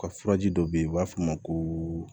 U ka furaji dɔ be yen u b'a f'o ma ko